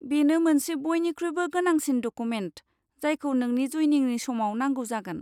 बेनो मोनसे बयनिख्रुइबो गोनांसिन डकुमेन्ट, जायखौ नोंनि जइनिंनि समाव नांगौ जागोन।